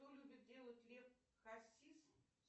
что любит делать лев хасис